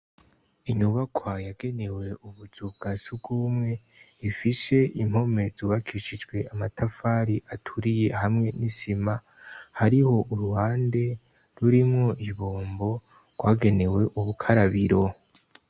Inyubakwa yagenewe ubuzu bwa sugumwe ifise impome zubakishijwe amatafari aturiye hamwe n'isima hariho uruhande rurimwo ibombo rwagenewe ubukarabiro.